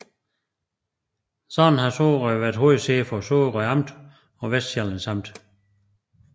Således har Sorø været hovedsæde for Sorø Amt og Vestsjællands Amt